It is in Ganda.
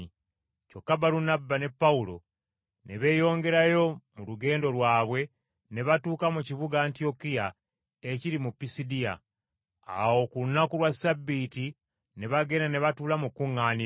Kyokka Balunabba ne Pawulo ne beeyongerayo mu lugendo lwabwe ne batuuka mu kibuga Antiyokiya ekiri mu Pisidiya. Awo ku lunaku lwa Ssabbiiti ne bagenda ne batuula mu kkuŋŋaaniro.